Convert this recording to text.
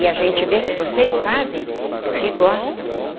E a gente vê que vocês fazem porque gostam.